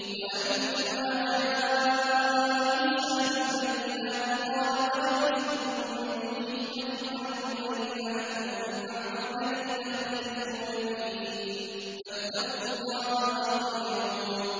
وَلَمَّا جَاءَ عِيسَىٰ بِالْبَيِّنَاتِ قَالَ قَدْ جِئْتُكُم بِالْحِكْمَةِ وَلِأُبَيِّنَ لَكُم بَعْضَ الَّذِي تَخْتَلِفُونَ فِيهِ ۖ فَاتَّقُوا اللَّهَ وَأَطِيعُونِ